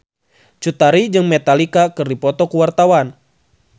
Cut Tari jeung Metallica keur dipoto ku wartawan